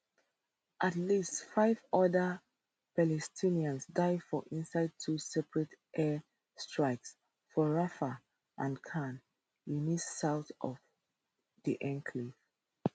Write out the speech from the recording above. at least five oda palestinians die for inside two separate airstrikes for rafah and khan younis south of di enclave